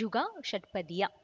ಝುಗಾ ಷಟ್ಪದಿಯ